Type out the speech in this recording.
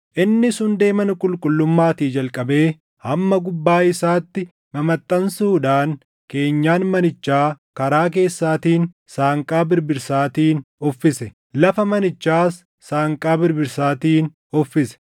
Innis hundee mana qulqullummaatii jalqabee hamma gubbaa isaatti mamaxxansuudhaan keenyan manichaa karaa keessaatiin saanqaa birbirsaatiin uffise; lafa manichaas saanqaa birbirsaatiin uffise.